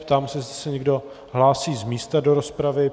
Ptám se, jestli se někdo hlásí z místa do rozpravy.